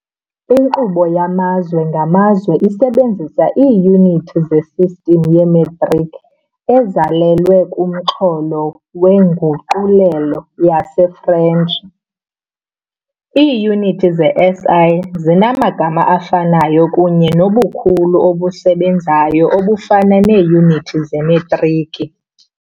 Inkqubo yamazwe ngamazwe isebenzisa iiyunithi zesistim yemetriki ezalelwe kumxholo weNguqulelo yesiFrentshi - Iiyunithi ze-SI zinamagama afanayo kunye nobukhulu obusebenzayo obufana neeyunithi zemetriki.